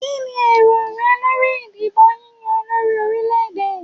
Kíni èrò rẹ lórí ìdìbò yíyá olórí orílè-èdè.